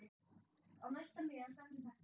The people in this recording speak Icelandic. Á næsta miða stendur þetta